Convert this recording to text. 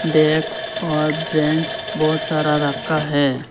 Desk और bench बहुत सारा रखा है।